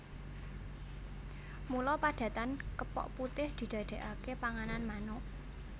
Mula padatan kepok putih didadékaké panganan manuk